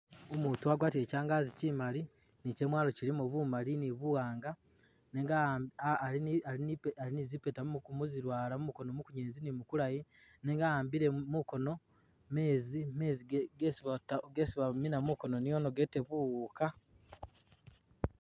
Umutu agwatile kyangazi kyimali ni kyamwalo kyilimo bumali ni buwanga nenga ali ni zipeta kizilwala mumukono mukunyelezi ni mukulayi nenga awambile mukono mezi gesi bamina mukono niono gete buwuka .